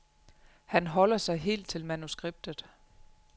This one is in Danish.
Han holder sig helt til manuskriptet.